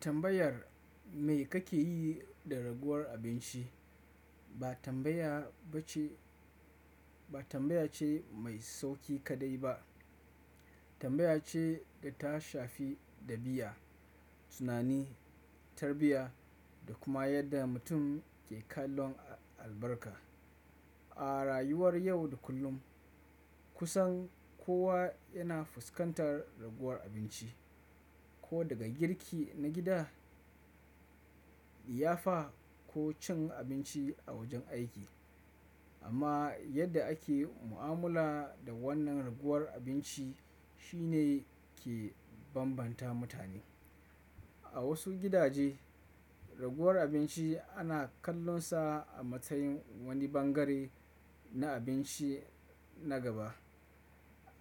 Tambayar me kake yi da raguwar abinci ba tambaya ba tambaya ce mai sauƙi kaɗai ba. Tambaya ce da ta shafi ɗabi'a, tunani, tarbiyya da kuma yadda mutum ke kallon albarka. A rayuwar yau da kullum kusan kowa yana fuskantar raguwar abinci, ko daga girki na gida, liyafa ko cin abinci a wajen aiki. Amma yadda ake mu'amala da wannan raguwar abinci shine ke bambanta mutane. A wasu gidaje, raguwar abinci ana kallonsa a matsayin wani bangare na abinci na gaba.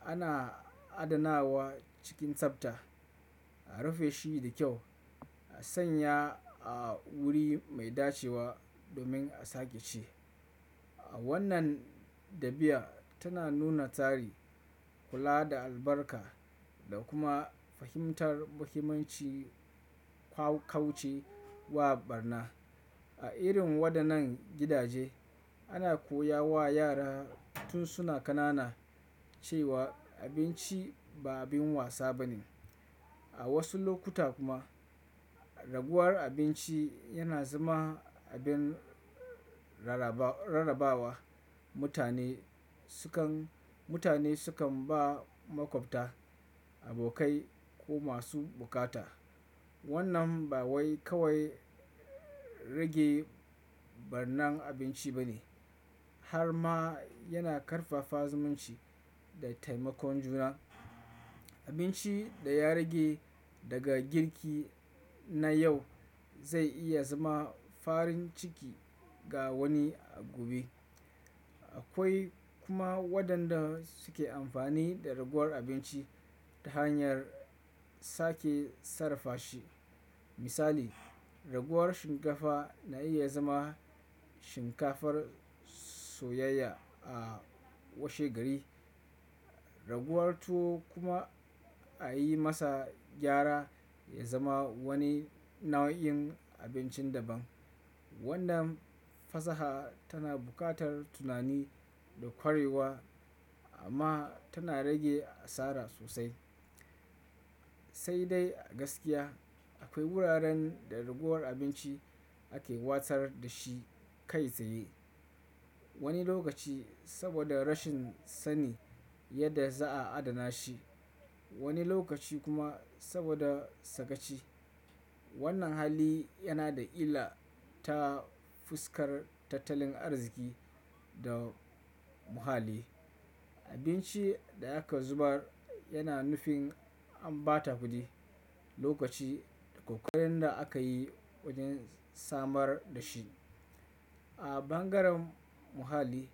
Ana adanawa cikin sabta, a rufe shi da kyau, a sanya a wuri mai dacewa domin a sake ci. Wannan ɗabi'a tana nuna tsari, kula da albarka da kuma fahimtar muhimmancin kaucewa ɓarna. A irin waɗannan gidaje, ana koya wa yara tun suna ƙanana cewa abinci ba abin wasa bane. A wasu lokuta kuma raguwar abinci yana zama abin rarrabawa. Mutane sukan ba maƙwabta, abokai ko masu buƙata. Wannan ba wai kawai rage ɓarnan abinci ba ne har ma yana ƙarfafa zumunci da taimakon juna. Abinci da ya rage daga girki na yau zai iya zama farin ciki ga wani a gobe. Akwai kuma waɗanda suke amfani da raguwar abinci ta hanyar sake sarrafa shi. Misali, raguwar shinkafa na iya zama shinkafar soyayya a washe gari. Raguwar tuwo kuma a yi masa gyara ya zama wani nau'in abincin daban. Wannan fasaha tana buƙatar tunani da ƙwarewa amma tana rage asara sosai. Sai dai a gaskiya akwai wuraren da raguwar abinci ake watsar da shi kai tsaye. Wani lokaci saboda rashin sani yadda za a adana shi, wani lokaci kuma saboda sakaci. Wannan hali yana da illa ta fuskar tattalin arziki da muhalli. Abinci da aka zubar yana nufin an ɓata kuɗi, lokaci da ƙoƙarin da aka yi wajen samar da shi. A bangaren muhalli,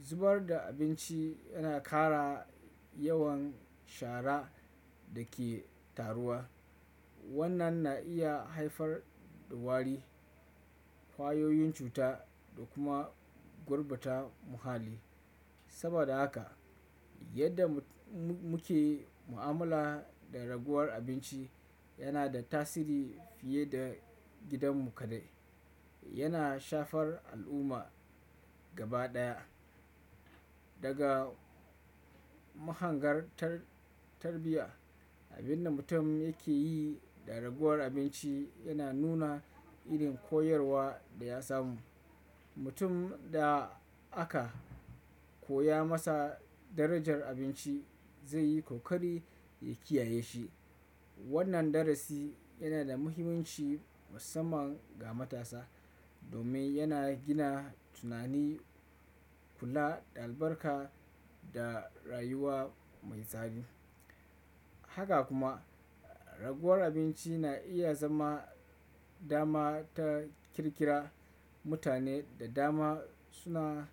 zubar da abinci yana ƙara yawan shara da ke taruwa. Wannan na iya haifar da wari, kwayoyin cuta da kuma gurbata muhalli. Saboda haka yadda muke mu'amala da raguwar abinci yana da tasiri fiye da gidanmu kaɗai. Yana shafar al'umma gaba ɗaya. Daga mahangar tarbiyya, abin da mutum yake yi da raguwar abinci yana nuna irin koyarwa da ya samu. Mutum da aka koya masa darajar abinci zai yi ƙoƙari ya kiyaye shi. Wannan darasi yana da muhimmanci musamman ga matasa domin yana gina tunani, kula da albarka da rayuwa mai tsari. Haka kuma raguwar abinci na iya zama dama ta ƙirƙira mutane da dama suna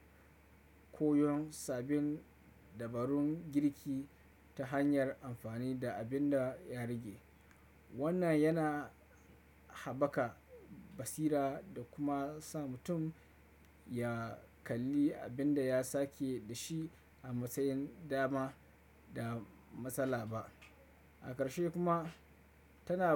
koyon sabbin dabarun girki ta hanyar amfani da abin da ya rage. Wannan yana haɓaka basira da kuma sa mutum ya kalli abin da ya sake da shi a matsayin dama da matsala ba. A ƙarshe kuma tana.